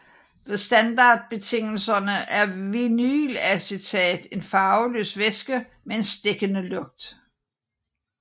Ved standardbetingelser er vinylacetat en farveløs væske med en stikkende lugt